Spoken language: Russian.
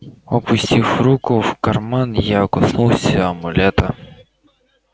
опустив руку в карман я коснулся амулета